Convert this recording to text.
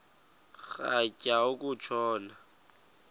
rhatya uku tshona